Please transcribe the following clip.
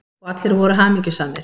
Og allir voru hamingjusamir.